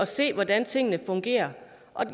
se hvordan tingene fungerer